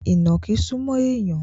Ìnàkí súmọ́ èèyàn